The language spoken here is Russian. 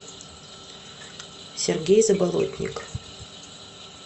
сергей заболотник